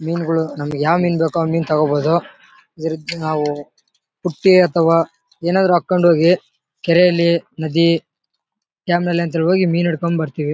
ಮೀನ್ ಗಳು ನಮಿಗೆ ಯಾವ್ ಮೀನ್ ಬೇಕೋ ಆ ಮೀನ್ ತಗೋಬೋದು ಇದಕ್ಕೆ ನಾವು ಪುಟ್ಟಿ ಅಥವಾ ಏನಾದ್ರು ಹಾಕೊಂಡು ಹೋಗಿ ಕೆರೆಯಲ್ಲಿ ನದಿ ಡ್ಯಾಮ್ ನಲ್ಲಿ ಒಂದ್ಸಲ ಹೋಗಿ ಮೀನ್ ಹಿಟ್ಕೊಂಡ್ ಬರ್ತಿವಿ .